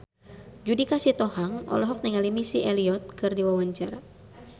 Judika Sitohang olohok ningali Missy Elliott keur diwawancara